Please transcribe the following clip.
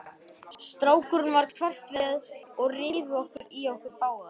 Strákunum varð hverft við og rifu í okkur báðar.